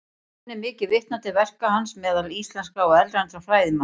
Enn er mikið vitnað til verka hans meðal íslenskra og erlendra fræðimanna.